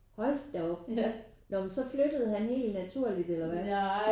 Hold da op når men så flyttede han helt naturligt eller hvordan?